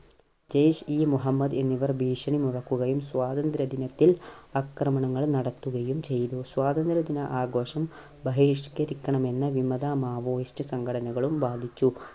ജയിഷ് ഈ മുഹമ്മദ് എന്നിവർ ഭീഷണി മുഴക്കുകയും സ്വാതന്ത്ര്യ ദിനത്തിൽ ആക്രമണങ്ങൾ നടത്തുകയും ചെയ്തു. സ്വാതന്ത്ര്യ ദിന ആഘോഷം ബഹിഷ്കരിക്കണമെന്ന് വിമത maoist സംഘടനകളും വാദിച്ചു.